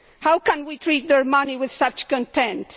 How can we treat their money with such contempt?